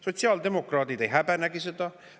Sotsiaaldemokraadid ei häbenegi seda.